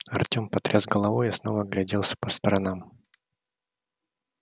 артём потряс головой и снова огляделся по сторонам